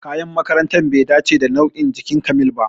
Kayan makarantar bai dace da nau'in jikin Kamil ba